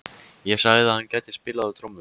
Ég sagði að hann gæti spilað á trommur.